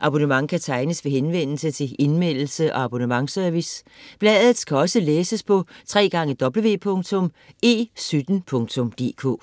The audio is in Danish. Abonnement kan tegnes ved henvendelse til Indmeldelse- og abonnementsservice. Bladet kan også læses på www.e17.dk